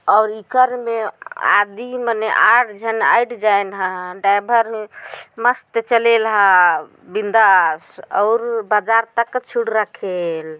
अलकर में आदि माने आठझन अइठजाए ह ड्रैइभर हे मस्त चलेल ह बिंदास औऊर बाजार तक छूड़ रखेल